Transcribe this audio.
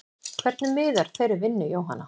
Hvernig miðar þeirri vinnu Jóhanna?